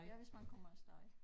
Ja hvis man kommer af sted